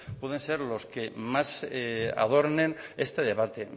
pueden ser los que más adornen este debate